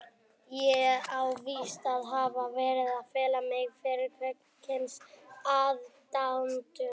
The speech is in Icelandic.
Ég á víst að hafa verið að fela mig fyrir kvenkyns aðdáendum?!